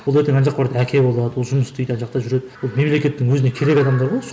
ол ертең ана жаққа барады әке болады ол жұмыс істейді ана жақта жүреді ол мемлекеттің өзіне керек адамдар ғой осы